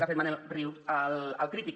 que ha fet manel riu al crític